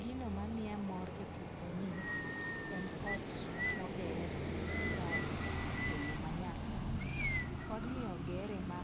Gino ma miya mor e tiponi, en ot moger kae yo manyasani, odni ogere ma